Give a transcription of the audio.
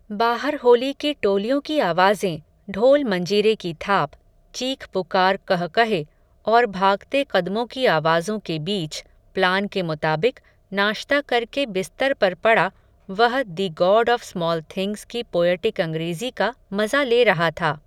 बाहर होली की टोलियों की आवाज़ें, ढोलमंजीरे की थाप, चीखपुकार क़ह क़हे, और भागते क़दमों की आवाज़ों के बीच, प्लान के मुताबिक, नाश्ता करके बिस्तर पर पड़ा, वह the God of Small Things की पोयटिक अंग्रेज़ी का, मज़ा ले रहा था